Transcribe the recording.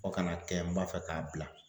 Fo ka n'a kɛ n b'a fɛ k'a bila .